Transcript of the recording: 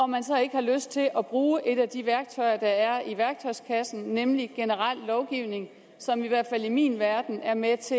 man så ikke har lyst til at bruge et af de værktøjer der er i værktøjskassen nemlig generel lovgivning som i hvert fald i min verden er med